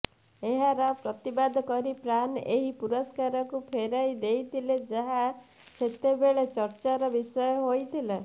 ଏହାର ପ୍ରତିବାଦ କରି ପ୍ରାନ୍ ଏହି ପୁରସ୍କାରକୁ ଫେରାଇ ଦେଇଥିଲେ ଯାହା ସେତେବେଳେ ଚର୍ଚ୍ଚାର ବିଷୟ ହୋଇଥିଲା